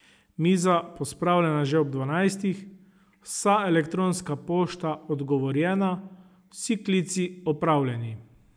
Miza pospravljena že ob dvanajstih, vsa elektronska pošta odgovorjena, vsi klici opravljeni ...